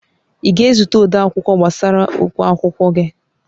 Ị ga-ezute odeakwụkwọ gbasara ụgwọ akwụkwọ gị?